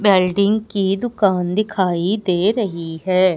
Welding की दुकान दिखाई दे रही है।